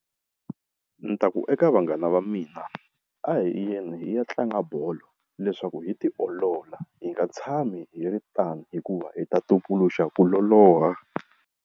Ni ta ku eka vanghana va mina a hi yeni hi ya tlanga bolo leswaku hi tiolola hi nga tshami hi ri tano hikuva hi ta tumbuluxa ku loloha.